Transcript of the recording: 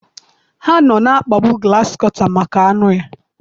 Ha nọ na-akpagbu grasịkọta maka anụ ya.